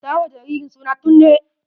Sa wa jaririn suna Tunde!